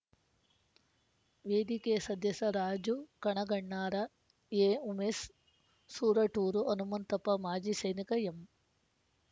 ವೇದಿಕೆಯ ಸದಸ್ಯ ರಾಜು ಕಣಗಣ್ಣಾರ ಎಉಮೇಸ್ ಸೂರಟೂರು ಹನುಮಂತಪ್ಪ ಮಾಜಿ ಸೈನಿಕ ಎಂ